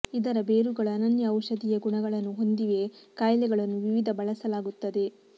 ಇದರ ಬೇರುಗಳು ಅನನ್ಯ ಔಷಧೀಯ ಗುಣಗಳನ್ನು ಹೊಂದಿವೆ ಕಾಯಿಲೆಗಳನ್ನು ವಿವಿಧ ಬಳಸಲಾಗುತ್ತದೆ